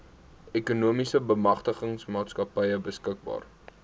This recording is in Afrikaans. ekonomiese bemagtigingsmaatskappy beskikbaar